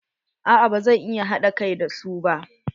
A'a ba zan iya haɗa kai da su ba.